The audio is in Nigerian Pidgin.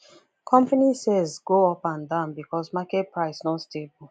company sales go up and down because market price no stable